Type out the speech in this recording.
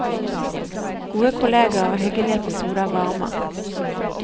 Gode kolleger og hyggelige episoder varmer.